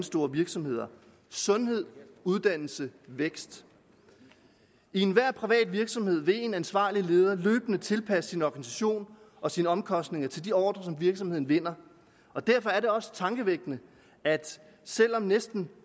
store virksomheder sundhed uddannelse vækst i enhver privat virksomhed vil en ansvarlig leder løbende tilpasse sin organisation og sine omkostninger til de ordrer som virksomheden vinder derfor er det også tankevækkende at selv om næsten